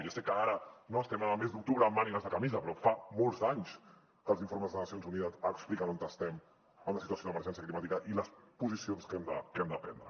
ja sé que ara estem al mes d’octubre amb mànigues de camisa però fa molts d’anys que els informes de les nacions unides expliquen on estem en la situació d’emergència climàtica i les posicions que hem de prendre